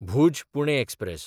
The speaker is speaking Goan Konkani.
भूज–पुणे एक्सप्रॅस